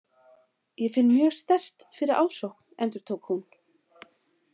Ég finn mjög sterkt fyrir ásókn, endurtók hún.